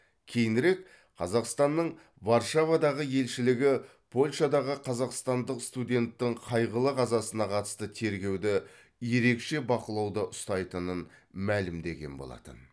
кейінірек қазақстанның варшавадағы елшілігі польшадағы қазақстандық студенттің қайғылы қазасына қатысты тергеуді ерекше бақылауда ұстайтынын мәлімдеген болатын